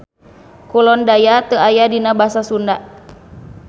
Kulon daya teu aya dina basa Sunda.